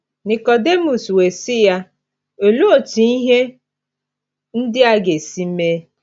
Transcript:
Nikọdimọs wee sị ya, ‘ Olee otú ihe ndị a ga-esi mee? ’